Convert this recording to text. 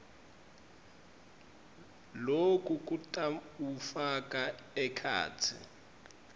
loku kutawufaka ekhatsi